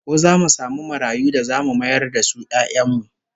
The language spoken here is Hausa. Ko zamu samu marayu da zamu mayar da su 'ya'yan mu?